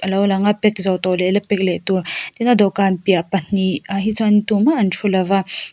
lo lang a pack zawh tawh leh la pack leh tur tin a dawhkhan piah pahnih ah hi chuan tumah an thu lova.